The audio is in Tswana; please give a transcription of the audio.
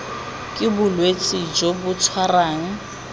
ke bolwetse jo bo tshwarang